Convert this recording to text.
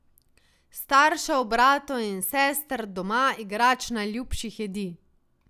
Staršev, bratov in sester, doma, igrač, najljubših jedi.